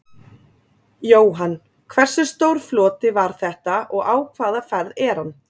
Jóhann: Hversu stór floti var þetta og á hvaða ferð er hann?